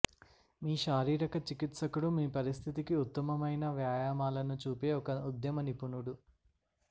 మీ శారీరక చికిత్సకుడు మీ పరిస్థితికి ఉత్తమమైన వ్యాయామాలను చూపే ఒక ఉద్యమ నిపుణుడు